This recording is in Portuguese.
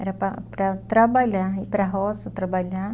Era para para trabalhar, ir para a roça, trabalhar.